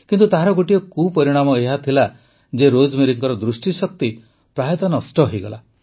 କିନ୍ତୁ ତାହାର ଗୋଟିଏ କୁପରିଣାମ ଏହାହେଲା ଯେ ରୋଜମେରୀଙ୍କ ଦୃଷ୍ଟିଶକ୍ତି ପ୍ରାୟତଃ ନଷ୍ଟ ହୋଇଗଲା